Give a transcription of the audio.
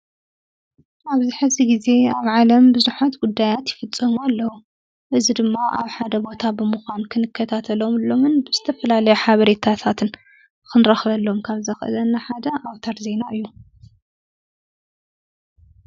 ኣብዝ ሕሲ ጊዜ ኣብ ዓለም ብዙኃት ጕዳያት ይፍጸሙ ኣለዉ እዝ ድማ ኣብ ሓደ ቦታ ብምዃም ክንከታተሎምሎምን ብስተፈላለዮ ሓበሬየታታትን ኽንረኽበሎም ካብዘኽእዘና ሓደ ኣውታር ዘይና እዩ።